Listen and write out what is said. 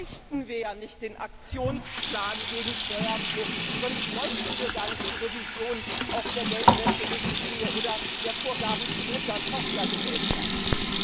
Sonst bräuchten wir ja nicht den Aktionsplan gegen Steuerflucht, sonst bräuchten wir gar nicht die Revision der Geldwäscherichtlinie oder der Vorgaben zu Mutter Tochter Gesellschaften.